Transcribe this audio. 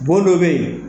Bon dɔ bɛ yen